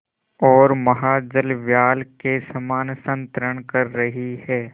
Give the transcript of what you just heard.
ओर महाजलव्याल के समान संतरण कर रही है